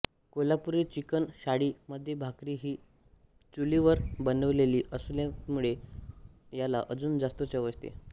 Kolhapuri chicken थाळी मध्ये भाकरी हि चुलीवर बनवलेली असतीत्यामुळे याला अजून जास्त चव येते